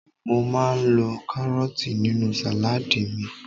mo ma n lo karọọti ninu saladi mi